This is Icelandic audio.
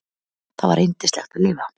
Það var yndislegt að lifa.